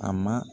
A ma